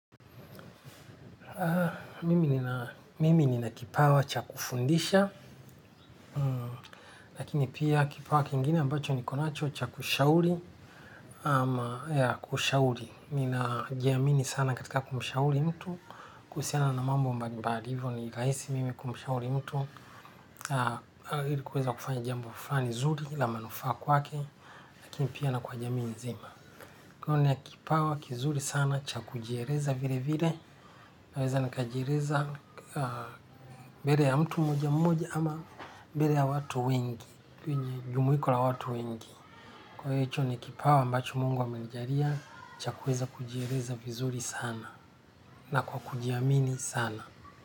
Mimi nina kipawa cha kufundisha lakini pia kipawa kingine ambacho nikonacho cha kushauri ama ya kushauri ninajiamini sana katika kumshauri mtu kuhusiana na mambo mbali mbali hivyo ni rahisi mimi kumshauri mtu ili kuweza kufanya jambo fulani zuri la manufa kwake lakini pia na kwa jamii nzima niko na kipawa kizuri sana cha kujieleza vile vile. Naweza nikajieleza mbele ya mtu mmoja mmoja ama mbele ya watu wengi. Kwenye jumuiko la watu wengi kwa hicho ni kipawa ambacho mungu amenijalia. Cha kuweza kujieleza vizuri sana na kwa kujiamini sana.